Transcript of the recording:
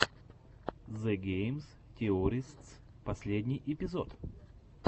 зе гейм теористс последний эпизод